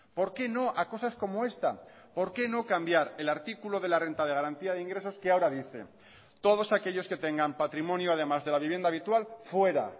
por qué no a cosas como esta por qué no cambiar el artículo de la renta de garantía de ingresos que ahora dice todos aquellos que tengan patrimonio además de la vivienda habitual fuera